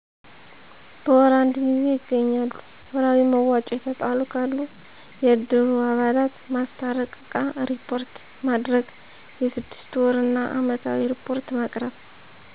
በወር አንድ ጊዜ ይገናኛሉ። ወርሀዊ መዋጮ የተጣሉ ካሉ የእድሩ አባላት ማስታረቅ እቃ እሪፖርት ማድረግ የስድስት ወር እና አመታዊ እሪፖርት ማቅረብ።